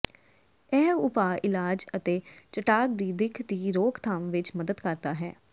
ਇਹ ਉਪਾਅ ਇਲਾਜ ਅਤੇ ਚਟਾਕ ਦੀ ਦਿੱਖ ਦੀ ਰੋਕਥਾਮ ਵਿੱਚ ਮਦਦ ਕਰਦਾ ਹੈ